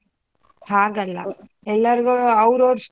ಹಾಗಲ್ಲ ಎಲ್ಲಾರ್ಗು ಅವರವ್ರ .